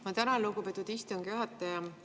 Ma tänan, lugupeetud istungi juhataja!